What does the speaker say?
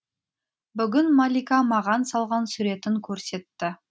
бүгін малика маған салған суретін көрсетті